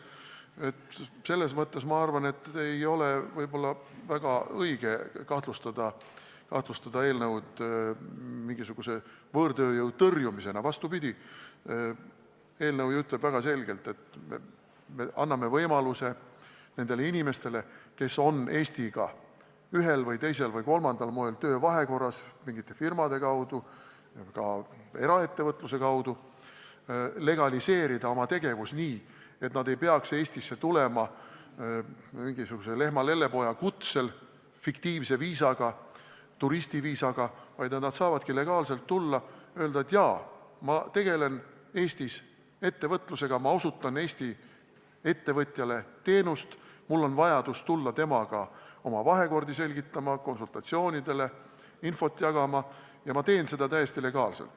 Nii et selles mõttes, ma arvan, ei ole võib-olla õige kahtlustada seda eelnõu võõrtööjõu tõrjumisena – vastupidi, eelnõu ju ütleb väga selgelt, et me anname võimaluse nendele inimestele, kes on Eestiga ühel või teisel või kolmandal moel töövahekorras mingite firmade kaudu, eraettevõtluse kaudu, legaliseerida oma tegevus nii, et nad ei peaks Eestisse tulema mingisuguse lehma lellepoja kutsel, fiktiivse viisaga, turistiviisaga, vaid saaksid tulla legaalselt ja öelda, et jaa, ma tegelen Eestis ettevõtlusega, ma osutan Eesti ettevõtjale teenust, mul on vaja tulla temaga oma vahekorda selgitama, konsultatsioonile, infot jagama ja ma teen seda täiesti legaalselt.